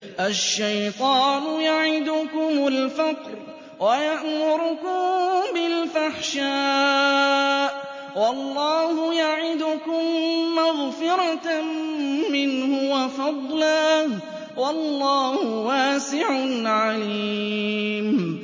الشَّيْطَانُ يَعِدُكُمُ الْفَقْرَ وَيَأْمُرُكُم بِالْفَحْشَاءِ ۖ وَاللَّهُ يَعِدُكُم مَّغْفِرَةً مِّنْهُ وَفَضْلًا ۗ وَاللَّهُ وَاسِعٌ عَلِيمٌ